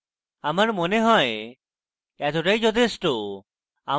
আমার মনে হয় এতটাই যথেষ্ঠ